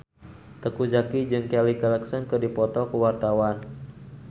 Teuku Zacky jeung Kelly Clarkson keur dipoto ku wartawan